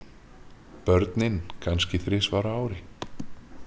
Börnin kannski þrisvar á ári.